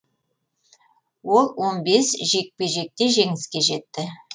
ол он бес жекпе жекте жеңіске жетті